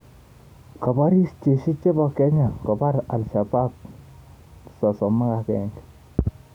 Kaporis Jeshi chepo Kenya kopar Ashabaab 31